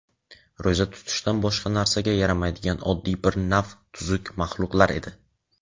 ro‘za tutishdan boshqa narsaga yaramaydigan oddiy bir nav tuzuk maxluqlar edi.